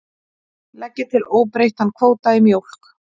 Leggja til óbreyttan kvóta í mjólk